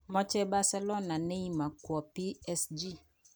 Moche Bercelona Neymar kwo PSG